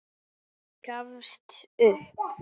Gafst upp.